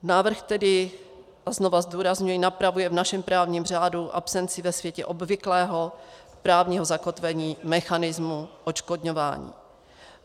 Návrh tedy, a znovu zdůrazňuji, napravuje v našem právním řádu absenci ve světě obvyklého právního zakotvení mechanismu odškodňování.